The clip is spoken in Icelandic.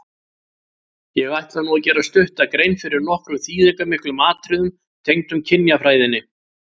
Ég ætla nú að gera stutta grein fyrir nokkrum þýðingarmiklum atriðum tengdum kynjafræðinni.